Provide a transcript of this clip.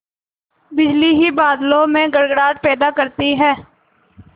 बिजली ही बादलों में गड़गड़ाहट पैदा करती है